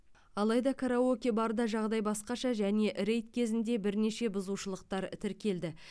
алайда караоке барда жағдай басқаша және рейд кезінде бірнеше бұзушылықтар тіркелді